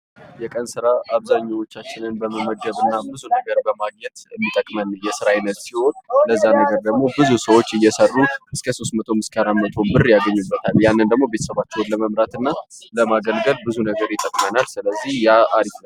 የቀን ስራ አብዛኛዎችን በመመገብና ብዙ ነገሮችን በማግኘት የሚጠቅመን የስራ አይነት ሲሆን ለዛ ነገር ደሞ ብዙ ሰዎች እየሰሩ እስከሶስት መቶም እስከአራት መቶም ብር ያገኙበታል። ያን ደሞ ቤተሰባቸውን ለመምራትና ለማገልገል ብዙ ነገር ይጠቅመናል ስለዚህ ያ አሪፍ ነው።